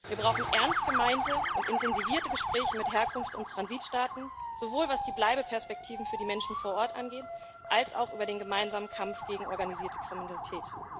Wir brauchen ernst gemeinte und intensivierte Gespräche mit Herkunfts und Transitstaaten, sowohl was die Bleibeperspektiven für die Menschen vor Ort angeht, als auch über den gemeinsamen Kampf gegen organisierte Kriminalität.